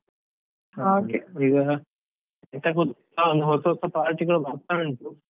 , ಈಗ ಎಂತ ಗೊತ್ತಾ ಒಂದ್ ಹೊಸ ಹೊಸ party ಗಳು ಬರ್ತಾ ಉಂಟು.